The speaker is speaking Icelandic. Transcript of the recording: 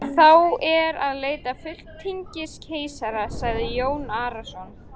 Þá er að leita fulltingis keisarans, sagði Jón Arason.